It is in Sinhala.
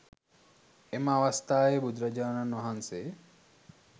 එම අවස්ථාවේ බුදුරජාණන් වහන්සේ